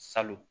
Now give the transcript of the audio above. Salon